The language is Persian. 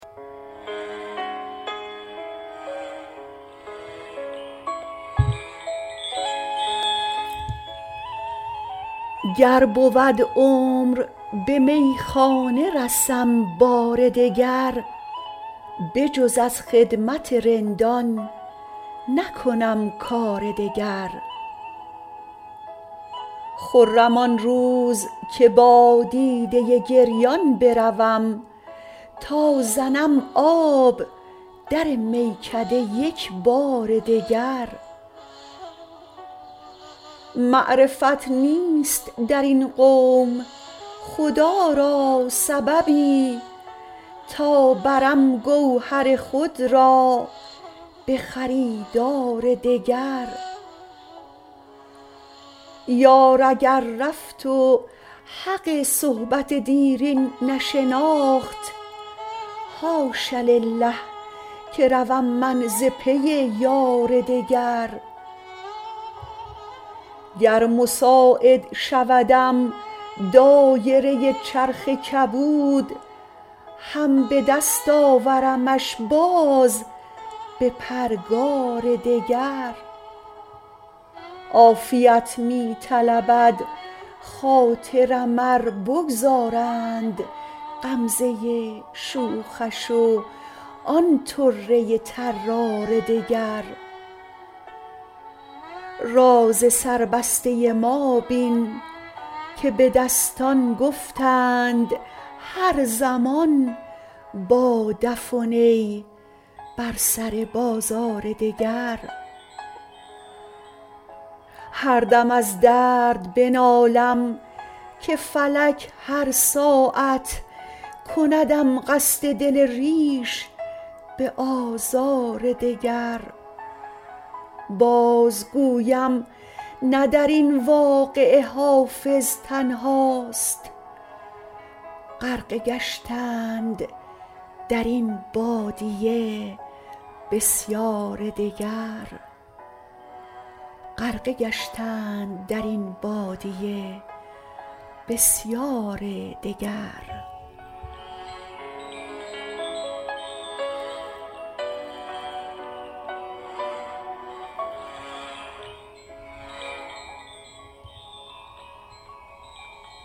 گر بود عمر به میخانه رسم بار دگر بجز از خدمت رندان نکنم کار دگر خرم آن روز که با دیده گریان بروم تا زنم آب در میکده یک بار دگر معرفت نیست در این قوم خدا را سببی تا برم گوهر خود را به خریدار دگر یار اگر رفت و حق صحبت دیرین نشناخت حاش لله که روم من ز پی یار دگر گر مساعد شودم دایره چرخ کبود هم به دست آورمش باز به پرگار دگر عافیت می طلبد خاطرم ار بگذارند غمزه شوخش و آن طره طرار دگر راز سربسته ما بین که به دستان گفتند هر زمان با دف و نی بر سر بازار دگر هر دم از درد بنالم که فلک هر ساعت کندم قصد دل ریش به آزار دگر بازگویم نه در این واقعه حافظ تنهاست غرقه گشتند در این بادیه بسیار دگر